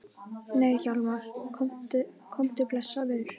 Nei Hjálmar, komdu blessaður!